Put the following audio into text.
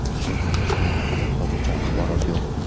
Qurbonlar soni haqida hozircha axborot yo‘q.